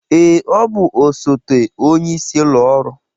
Ee, ọ bụ osote onyeisi ụlọ ọrụ